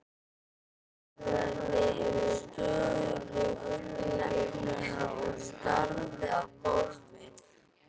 Hann nagaði stöðugt neglurnar og starði á gólfið.